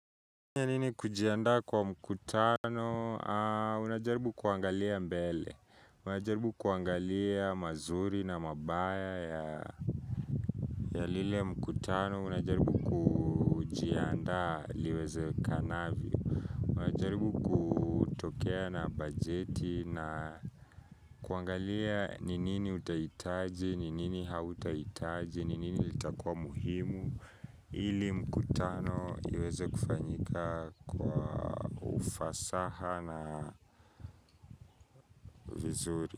Nini kujiandaa kwa mkutano, unajaribu kuangalia mbele, unajaribu kuangalia mazuri na mabaya ya ya lile mkutano, unajaribu kujianda liwezekanavyo, unajaribu kutokea na bajeti na kuangalia ni nini utahitaji, ni nini hautahitaji, ni nini litakua muhimu ili mkutano iweze kufanyika kwa ufasaha na vizuri.